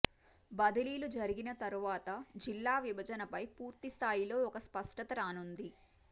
బదిలీలు జరిగిన తర్వాత జిల్లా విభజనపై పూర్తిస్థాయిలో ఒక స్పష్టత రానుంది